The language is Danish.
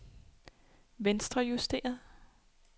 venstrejusteret